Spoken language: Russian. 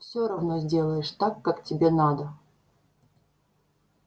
всё равно сделаешь так как тебе надо